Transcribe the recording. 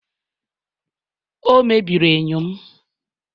o mebiri enyo m